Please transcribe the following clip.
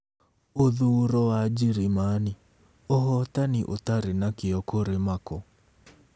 Ũthuuro wa Njĩrĩmani: Ũhootani Ũtarĩ na Kĩyo kũrĩ Merkel